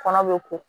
Kɔnɔ bɛ ko